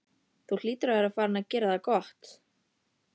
Þú hlýtur að vera farinn að gera það gott!